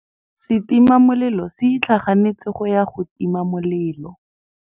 Setima molelô se itlhaganêtse go ya go tima molelô.